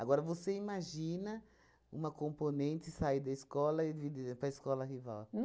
Agora, você imagina uma componente sair da escola e vir para a escola rival?